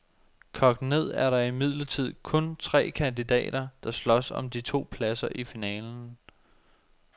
Kogt ned er der imidlertid kun tre kandidater, der slås om de to pladser i finalen.